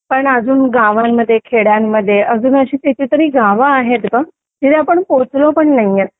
पण अजून गावांमध्ये खेड्यांमध्ये अजून अशी कितीतरी गाव आहेत जिथे आपण पोहोचलो पण नाही येत